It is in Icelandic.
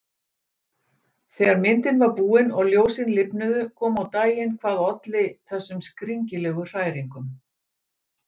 Þegar myndin var búin og ljósin lifnuðu kom á daginn hvað olli þessum skringilegu hræringum.